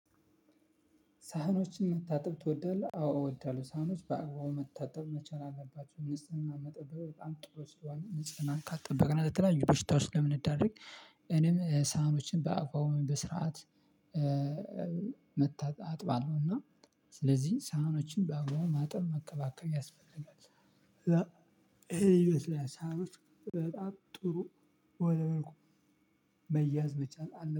ሳህኖችን መታጠብ ትወዳለህ አዎ እወዳለሁ ሳህኖች በአግባቡ መታጠብ መቻል አለባቸው ንጽህና መጠበቅ በጣም ጥሩ ስለሆነ ንጽህናን ካልጠበቅነ ለተለያዩ በሽታዎች ስለምንዳረግ። እኔም ሳህኖችን በአግባቡ በስርዓት መታጠ አጥባለሁ። እና ስለዚህ ሳህኖችን በአግባቡም ማጠብ መንከባከብ ያስፈልጋል። ይሄ ይመስለኛል ሳህኖች በጣም ጥሩ ወደ መልኩ መያዝ ብቻ አለ